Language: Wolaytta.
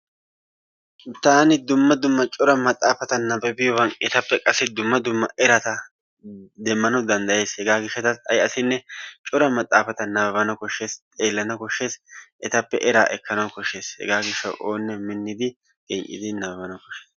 Taan dumma dumma cora maxaafata nabbabiyogan etappe qassi dumma dumma erata demmanawu danddayays. Hegaa gishshataassi ay asinne cora maxaafata nabbabana koshshees, xeellana koshshees, etappe eraa ekkana koshshees. Hegaa gishshawu oonne minnidi genccidi nabbabana koshshees.